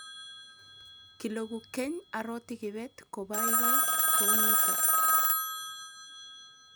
kileku keny aroti kibet ko baibai kou nito